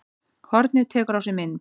Hornið tekur á sig mynd